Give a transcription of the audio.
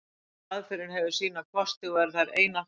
Hvor aðferðin hefur sína kosti, og eru þær einatt notaðar saman.